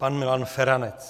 Pan Milan Feranec.